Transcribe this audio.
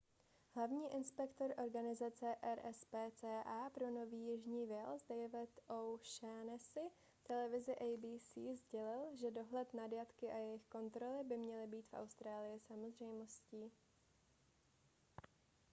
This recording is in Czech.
hlavní inspektor organizace rspca pro nový jižní wales david o'shannessy televizi abc sdělil že dohled nad jatky a jejich kontroly by měly být v austrálii samozřejmostí